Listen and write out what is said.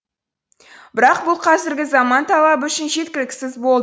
бірақ бұл қазіргі заман талабы үшін жеткіліксіз болды